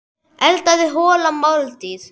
Eldaðu holla máltíð.